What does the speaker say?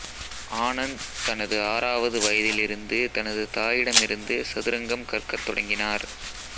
ஆனந்த் தனது ஆறாவது வயதில் இருந்து தனது தாயிடமிருந்து சதுரங்கம் கற்கத் தொடங்கினார்